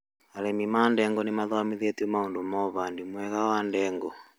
Arĩmi a ndengũ nĩmathomithĩtio maũndũ ma ũhandi mwega wa ndengũ